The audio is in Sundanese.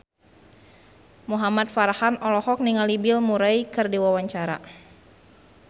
Muhamad Farhan olohok ningali Bill Murray keur diwawancara